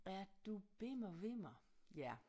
Er du bimmer vimmer ja